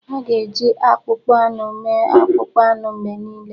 A ga-eji akpụkpọ anụ mee akpụkpọ anụ mgbe niile.